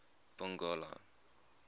pongola